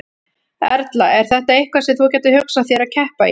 Erla: Er þetta eitthvað sem þú gætir hugsað þér að keppa í?